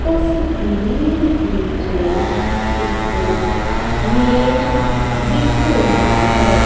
ਤਸਵੀਰ ਵਿੱਚ ਇੱਕ ਮੇਜ ਦਿਖ ਰਿਹਾ ਹੈ।